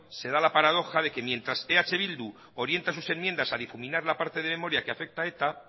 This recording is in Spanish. se da la paradoja de que mientras eh bildu orienta sus enmiendas a difuminar la parte de memoria que afecta a eta